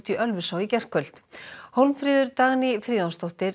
í Ölfusá í gærkvöld Hólmfríður Dagný Friðjónsdóttir